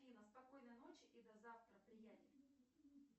афина спокойной ночи и до завтра приятель